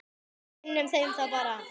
Kynnum þeim það bara.